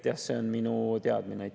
See on minu teadmine.